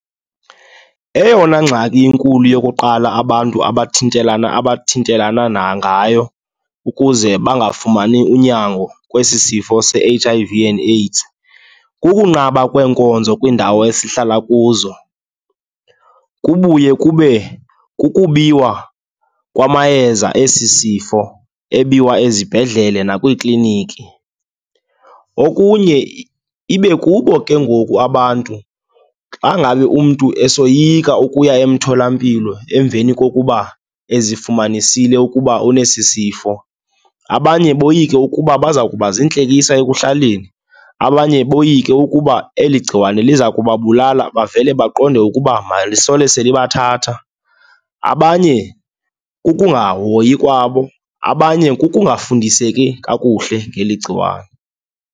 Eyona ngxaki inkulu yokuqala, abantu abathintelana abathintelana nangayo ukuze bangafumani unyango kwesi sifo se-H_I_V and AIDS, kukunqaba kweenkonzo kwiindawo esihlala kuzo. Kubuye kube kukubiwa kwamayeza esi sifo, ebiwa ezibhedlele nakwiikliniki. Okunye ibe kubo ke ngoku abantu, xa ngabe umntu esoyika ukuya emtholampilo emveni kokuba ezifumanisile ukuba unesi sifo. Abanye boyike ukuba baza kuba ziintlekisa ekuhlaleni, abanye boyike ukuba eli gciwane liza kubabulala bavele baqonde ukuba malisole selibathatha. Abanye kukungahoyi kwabo, abanye kukungafundiseki kakuhle ngeli gciwane.